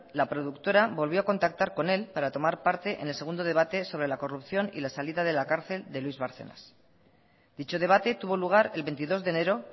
la productora volvió a contactar con él para tomar parte en el segundo debate sobre la corrupción y la salida de la cárcel de luis bárcenas dicho debate tuvo lugar el veintidós de enero